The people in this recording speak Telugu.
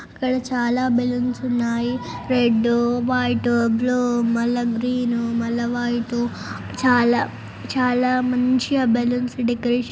అవి చాలా బెలూన్స్ ఉన్నాయి రెడ్ వైట్ బ్లూ మల్ల గ్రీన్ మల్ల వైట్ చాలా చాలా మంచిగా బెలూన్స్ డెకరేషన్